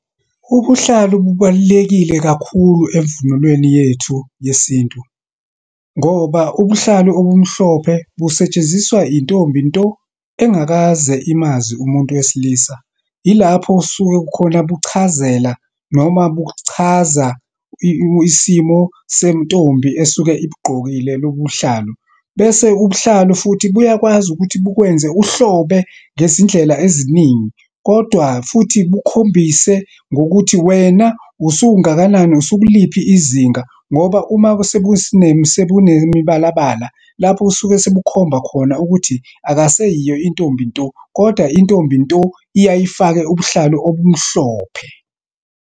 Ubuhlalu bubalulekile kakhulu emvunulweni yethu yesintu. Ngoba ubuhlalu obumhlophe busetshenziswa intombi nto, engakaze imazi umuntu wesilisa. Yilapho osuke khona buchazela noma buchaza isimo sentombi esuke ibugqokile lobuhlalu. Bese ubuhlalu futhi buyakwazi ukuthi bukwenze uhlobo ngezindlela eziningi. Kodwa futhi bukhombise ngokuthi wena usungakanani, usukuliphi izinga. Ngoba uma sebunemibalabala, lapho osuke sebukhomba khona ukuthi akaseyiyo intombi nto, kodwa intombi nto, iyaye ifake ubuhlalu obumhlophe.